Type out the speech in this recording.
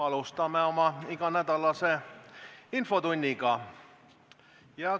Alustame oma iganädalast infotundi.